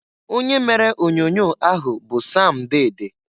Onye mere onyoonyoo ahụ bụ Sam Dede.